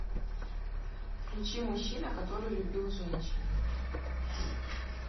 включи мужчина который любил женщин